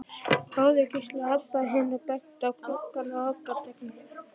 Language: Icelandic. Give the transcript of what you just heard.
Sjáðu, hvíslaði Abba hin og benti á gluggana á apótekinu.